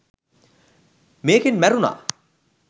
මේකෙන් මැරුණා